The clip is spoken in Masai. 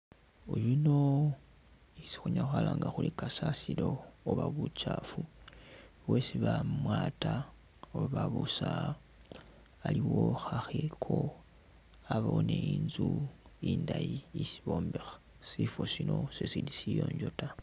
Oyuno isi khunyala khwalanga khuri kasasilo oba buchafu bwesi bamwata oba babusa iliwo khakheko, abawo ni'nzu indayi isi bombekha sifo Sino sisili siyonjo taa